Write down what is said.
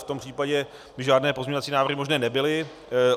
V tom případě by žádné pozměňovací návrhy možné nebyly.